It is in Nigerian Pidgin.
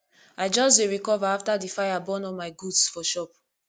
i just dey recover after di fire burn all my goods for shop